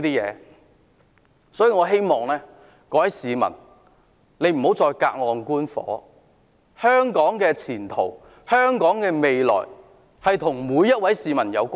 因此，我希望各位市民不要再隔岸觀火，香港的前途和未來與每一位市民有關。